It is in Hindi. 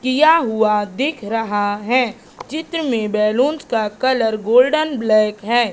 किया हुआ दिख रहा है। चित्र में बैलूनस का कलर गोल्डन ब्लैक है।